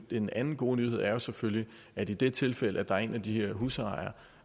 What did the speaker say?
den anden gode nyhed er selvfølgelig at i det tilfælde hvor der er en af de her husejere